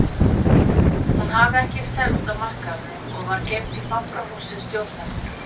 Hún hafði ekki selst á markaðnum og var geymd í fangahúsi stjórnarinnar.